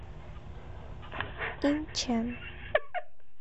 инчэн